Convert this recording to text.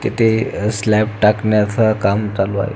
तेथे स्लॅब टाकण्याच काम चालू आहे.